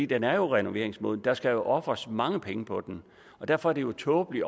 den er jo renoveringsmoden der skal ofres mange penge på den derfor er det jo tåbeligt